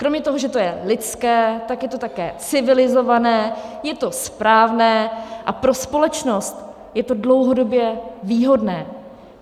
Kromě toho, že to je lidské, tak je to také civilizované, je to správné a pro společnost je to dlouhodobě výhodné.